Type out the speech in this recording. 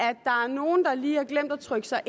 nogle der lige har glemt at trykke sig